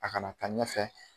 A ka na taa ɲɛfɛ.